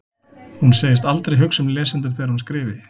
Hún segist aldrei hugsa um lesendur þegar hún skrifi.